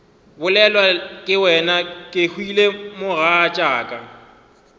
bolelwa ke wena kehwile mogatšaka